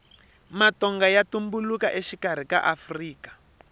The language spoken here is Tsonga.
matonga ya tumbuluka exikarhi ka afrika